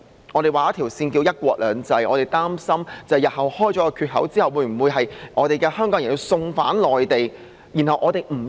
我們有一條界線名為"一國兩制"，我們擔心打開缺口之後，香港人日後會否被送返內地受審？